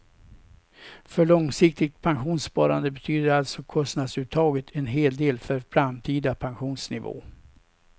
För långsiktigt pensionssparande betyder alltså kostnadsuttaget en hel del för framtida pensionsnivå.